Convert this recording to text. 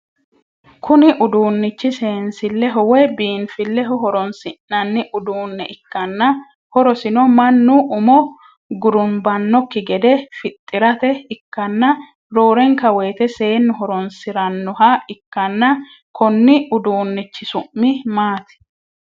Kunni uduunichi seensileho woye biinfileho horoonsi'nanni uduune ikanna horosino Manu umu gurunbanoki gede fixirate ikanna roorenka woyite seenu horoonsiranoha ikanna konni uduunnichi su'mi maati?